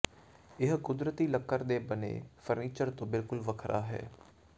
ਇਹ ਕੁਦਰਤੀ ਲੱਕੜ ਦੇ ਬਣੇ ਫਰਨੀਚਰ ਤੋਂ ਬਿਲਕੁਲ ਵੱਖਰਾ ਹੈ